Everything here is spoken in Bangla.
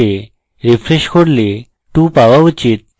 refresh করলে 2 পাওয়া উচিত